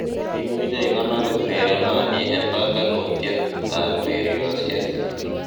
imuje igonor urerenoni en panganutiet ureriosyek